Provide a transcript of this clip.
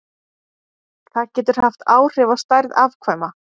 Það getur haft áhrif á stærð afkvæma.